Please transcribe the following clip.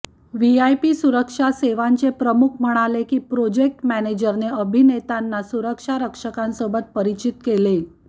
VIP सुरक्षा सेवांचे प्रमुख म्हणाले की प्रोजेक्ट मॅनेजरने अभिनेतांना सुरक्षारक्षकांसोबत परिचित केले